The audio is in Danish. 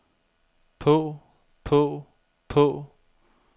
på på på